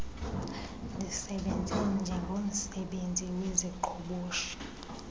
ndisebenze njengomsebenzi weziqhoboshi